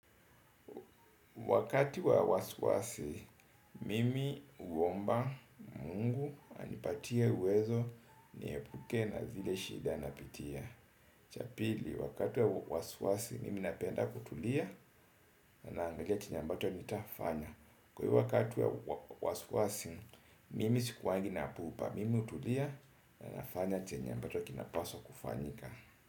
Wakati wa wasiwasi, mimi uomba mungu anipatie uwezo niepuke na zile shida napitia. Cha pili, wakati wa wasiwasi, mimi napenda kutulia ninaangalia kenye ambacho nitafanya. Kwa hivyo wakati wa wasiwasi, mimi sikuwagi na pupa. Mimi hutulia na nafanya chenye ambacho kinapaswa kufanyika.